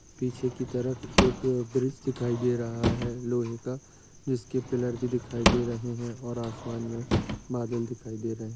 पीछे की तरफ एक ब्रिज दिखाई दे रहा है लोहे का जिसके पिल्लर भी दिखाई दे रहे है और आसमान में बादल दिखाई दे रहे हैं।